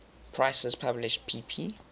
prices published pp